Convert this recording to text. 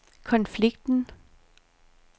konflikten